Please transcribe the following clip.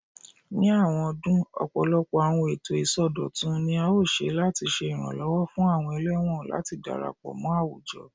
Ni awọn ọdun, ọpọlọpọ awọn eto isọdọtun ni a ṣe lati ṣe iranlọwọ fun awọn ẹlẹwọn lati darapọ mọ awujọ